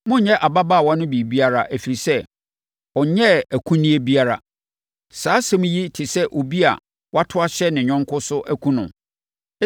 Monnyɛ ababaawa no biribiara, ɛfiri sɛ, ɔnyɛɛ akunneɛ biara. Saa asɛm yi te sɛ obi a wato ahyɛ ne yɔnko so akum no.